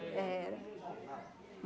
Era.